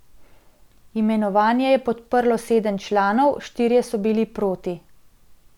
Imenovanje je podprlo sedem članov, štirje so bili proti.